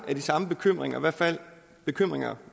med de samme bekymringer i hvert fald bekymringer